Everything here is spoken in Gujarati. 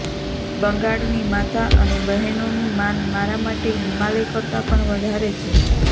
બંગાળની માતા અને બહેનોનું માન મારા માટે હિમાલય કરતાં પણ વધારે છે